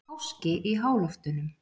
Háski í háloftunum